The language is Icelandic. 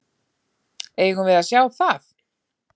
Eigum við að sjá það?